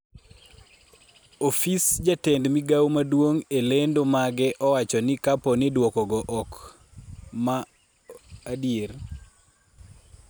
ofis jatend migawo maduong' e lendo mage owacho ni kapo ni duokogo ma ok adier